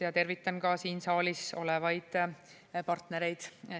Ja tervitan ka siin saalis olevaid keeleõppe partnereid.